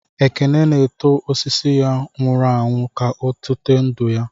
Ekene na-eto osisi ya nwụrụ anwụ, ka ọ tụte ndụ ya.